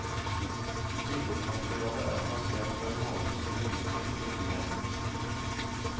Billedmaterialet er plassert på en måte som understreker ryddigheten.